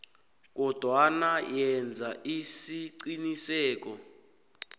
kodwana yenza isiqiniseko